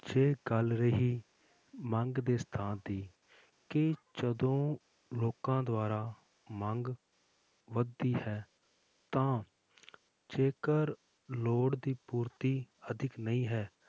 ਜੇ ਗੱਲ ਰਹੀ ਮੰਗ ਦੇ ਸਥਾਨ ਦੀ ਕੀ ਜਦੋਂ ਲੋਕਾਂ ਦੁਆਰਾ ਮੰਗ ਵੱਧਦੀ ਹੈ ਤਾਂ ਜੇਕਰ ਲੋੜ ਦੀ ਪੂਰਤੀ ਅਧਿਕ ਨਹੀਂ ਹੈ,